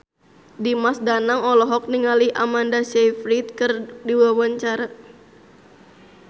Dimas Danang olohok ningali Amanda Sayfried keur diwawancara